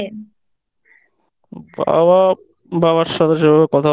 মা বাবার সাথে সেভাবে কথা